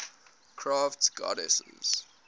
crafts goddesses